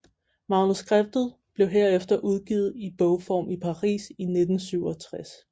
Manuskriptet blev herefter udgivet i bogform i Paris i 1967